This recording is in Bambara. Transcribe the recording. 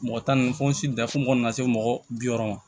Mɔgɔ tan ni fosi bila fo ka na se mɔgɔ bi wɔɔrɔ ma